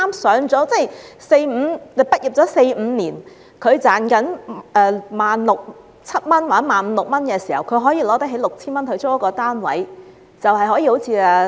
這就是大學生畢業四五年後，賺取一萬六七千元或一萬五六千元時，有能力花 6,000 元租住單位的情況。